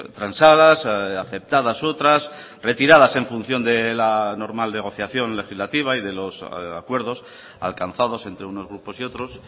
transadas aceptadas otras retiradas en función de la normal negociación legislativa y de los acuerdos alcanzados entre unos grupos y otros